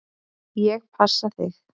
Ég passa þig.